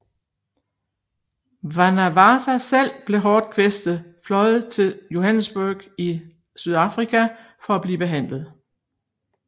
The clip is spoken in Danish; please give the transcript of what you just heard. Mwanawasa selv blev hårdt kvæstet fløjet til Johannesburg i Sydafrika for at blive behandlet